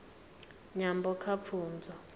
nyambo kha pfunzo